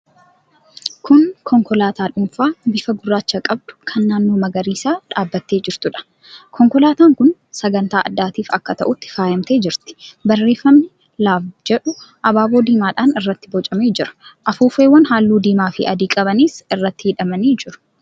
Kun konkolaataa dhuunfaa bifa gurraacha qabdu kan naannoo magariisaa dhaabbattee jirtuudha. Konkolaataan kun sagantaa addaatiif akka ta'utti faayamtee jirti. Barreeffamni 'LOVE' jedhu abaaboo diimaadhaan irratti bocamee jira. Afuuffeewwan halluu diimaafi adii qabanis irratti hidhamanii jiru.